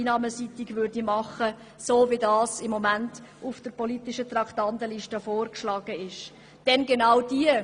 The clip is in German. Diese würden in der Form, wie sie im Moment auf der politischen Traktandenliste stehen, grosse Löcher in die Einnahmen reissen.